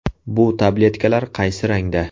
Bu tabletkalar qaysi rangda?